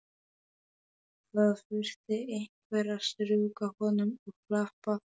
Það þurfti einhver að strjúka honum og klappa.